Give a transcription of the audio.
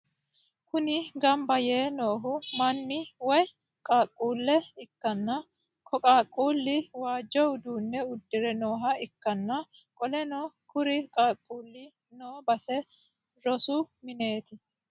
Kuni gambba yee noohu manna woyi qaaquulle ikkana ko qaaqulino waajjo uduunne udire nooha ikkana qoleno kuri qaaqulli noo base rosu mineeti